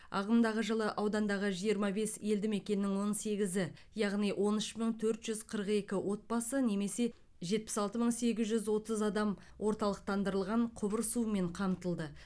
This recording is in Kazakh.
ағымдағы жылы аудандағы жиырма бес елді мекеннің он сегізі яғни он үш мың төрт жүз қырық екі отбасы немесе жетпіс алты мың сегіз жүз отыз адам орталықтандырылған құбыр суымен қамтылды